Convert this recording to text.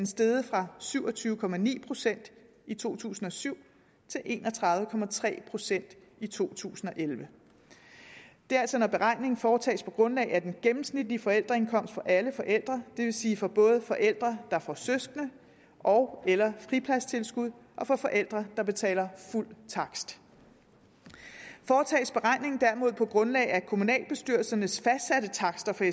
steget fra syv og tyve procent i to tusind og syv til en og tredive procent i to tusind og elleve det er altså når beregningen foretages på grundlag af den gennemsnitlige forældreindkomst for alle forældre det vil sige både for forældre der får søskende ogeller fripladstilskud og for forældre der betaler fuld takst foretages beregningen derimod på grundlag af kommunalbestyrelsernes fastsatte takster